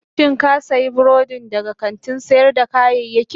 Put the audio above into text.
Shin ka sayi burodin daga kantin sayar da kayayyaki?